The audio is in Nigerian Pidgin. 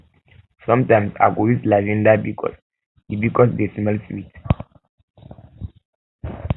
sometimes i go use lavinda bikos di bikos di smell dey sweet